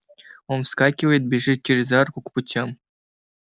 он вскакивает бежит через арку к путям